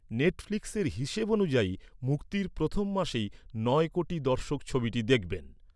নেটফ্লিক্সের হিসেব অনুযায়ী, মুক্তির প্রথম মাসেই নয় কোটি দর্শক ছবিটি দেখবেন।